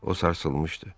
O sarsılmışdı.